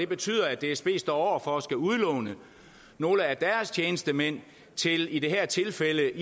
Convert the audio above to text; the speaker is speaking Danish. betyder at dsb står over for at skulle udlåne nogle af deres tjenestemænd i det her tilfælde